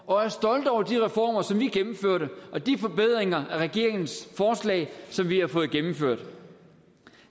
og er stolte over de reformer som vi gennemførte og de forbedringer af regeringens forslag som vi har fået gennemført